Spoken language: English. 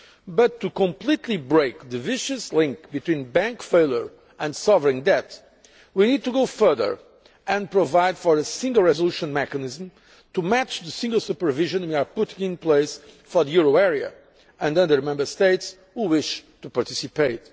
But to completely break the vicious link between bank failure and sovereign debt, we need to go further and provide for a single resolution mechanism to match the single supervision we are putting in place for the euro area and other Member States which wish to participate.